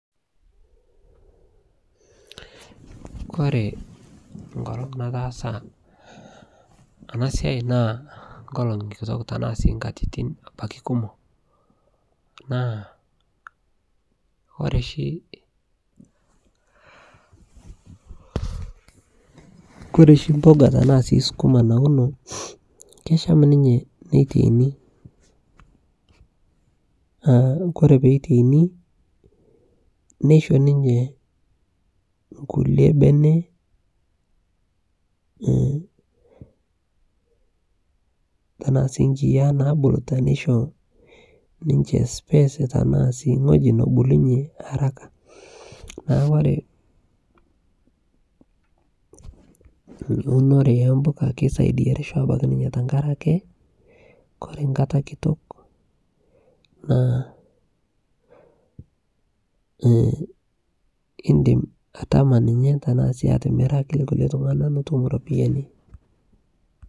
Kore nkolong nataasa ana sia naa nkolong kitook tana sii nkatitin abaki kumook. Naa kore shii, kore shii mbukaa tana sii sukuma naunoo keshaam ninyee neteini. Aah kore pee eteinii neisho ninyee nkulee beene. Tanaa sii nkiyaa naibuluu teneishoo ninchee space tana sii ng'oji noibulunye arakaa. Naa ore eunore e mbukaa keisaidia reshoo abaki ninyee tang'araki ore mbaata nkataa naa ee idim atamaa ninye, taana sii amiraki nkulee ltung'aa piitum ropiani.